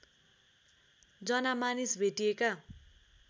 जना मानिस भेटिएका